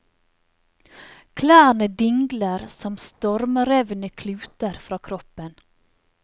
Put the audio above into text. Klærne dingler som stormrevne kluter fr a kroppen.